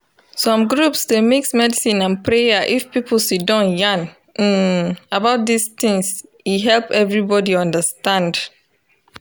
doctors dey face wahala when patient reject treatment because of religion e dey make treatment start late